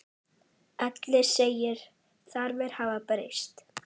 Elliði segir þarfir hafa breyst.